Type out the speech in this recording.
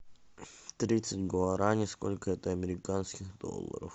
тридцать гуарани сколько это американских долларов